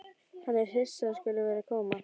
Hann er hissa að hún skuli vera að koma.